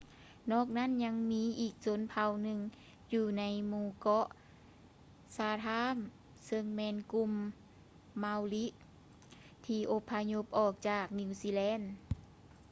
ນອກນັ້ນຍັງມີອີກຊົນເຜົ່າໜຶ່ງຢູ່ໃນໝູ່ເກາະ ຊາທາມ chatham ຊຶ່່ງແມ່ນກຸ່ມ ມາວຣິ maori ທີ່ອົບພະຍົບອອກຈາກ ນີວຊີແລນ